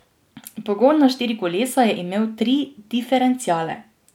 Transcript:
Pogon na štiri kolesa je imel tri diferenciale.